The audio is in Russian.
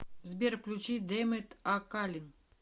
сбер включи демет акалин